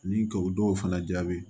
Ni ka o dɔw fana jaabi